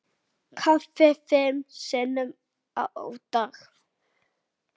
Kaffi fimm sinnum á dag.